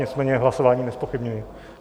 Nicméně hlasování nezpochybňuji.